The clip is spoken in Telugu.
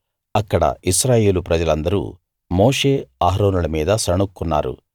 అక్కడ ఇశ్రాయేలు ప్రజలందరూ మోషే అహరోనుల మీద సణుగుకున్నారు